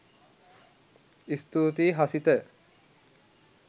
ස්තුතියි හසිත.